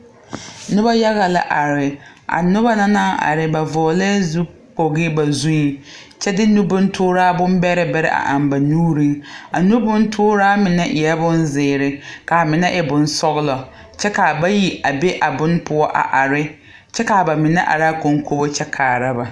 Noba yaga la are a noba na naŋ are ba vɔglɛɛ zukpogi ba zuŋ kyɛ de nubontooraa bombɛrɛ bɛrɛ a eŋ ba nuuriŋ a nubontooraa mine e la bonzeere ka a mine e bonsɔglɔ kyɛ ka a bayi a be a bonne poɔ a are kyɛ ka a ba mine are kɔnkobo kyɛ kaara ba.